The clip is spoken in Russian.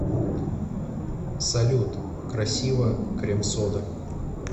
салют красиво крем сода